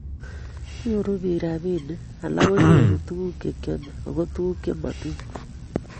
Nyoru biik robinik, alak konyoru tuguk chekiame ago tuguk chemotinye